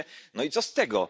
Mówicie no i co z tego?